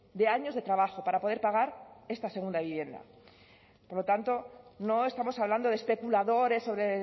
de años de trabajo para poder pagar esta segunda vivienda por lo tanto no estamos hablando de especuladores sobre